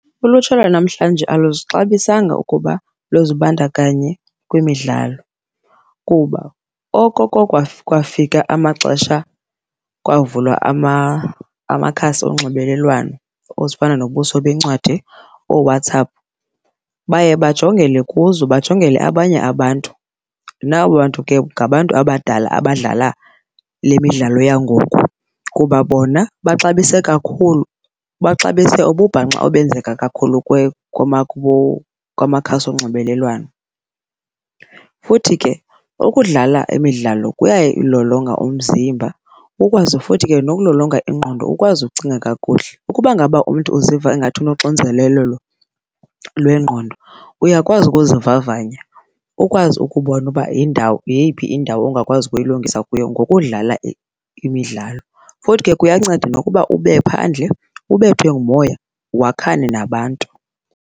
Ulutsha lwanamhlanje aluzixabisanga ukuba luzibandakanye kwimidlalo kuba okoko kwafika amaxesha kwavulwa amakhasi onxibelelwano ezifana nobuso bencwadi, ooWhatsApp, baye bajongele kuzo bajongele abanye abantu. Nabo bantu ke ngabantu abadala abadlala le midlalo yangoku kuba bona baxabise kakhulu, baxabise ububhanxa obenzeka kakhulu kwamakhasi onxibelelwano. Futhi ke ukudlala imidlalo kuyayilolonga umzimba ukwazi futhi ke nokulolonga ingqondo ukwazi ukucinga kakuhle. Ukuba ngaba umntu uziva ingathi unonxinzelelo lwengqondo uyakwazi ukuzivavanya, ukwazi ukubona uba yeyiphi indawo ongakwazi ukuyilungisa kuyo ngokudlala imidlalo. Futhi ke kuyanceda nokuba ube phandle ubethwe ngumoya wakhane nabantu.